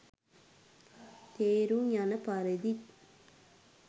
තේරුම් යන පරිදිත්